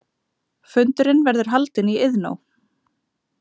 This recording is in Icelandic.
Fundurinn verður haldinn í Iðnó